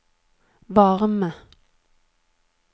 varme